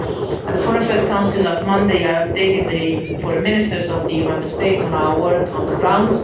At the Foreign Affairs Council last Monday, I updated the Foreign Ministers of the EU Member States on our work on the ground.